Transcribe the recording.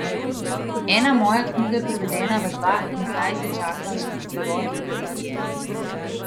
Ena moja knjiga je prevedena v dva in zdaj se čaka še prevod v tretji jezik.